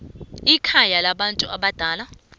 ikhaya labantu abadala